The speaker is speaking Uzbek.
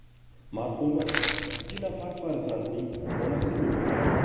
Marhuma ikki nafar farzandning onasi bo‘lgan.